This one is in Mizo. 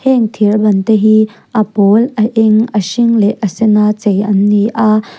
heng thir ban te hi a pawl a eng a hring leh a sen a chei an ni a.